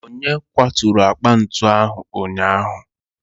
onye kwaturu akpa ntu ahụ ụnyaahụ?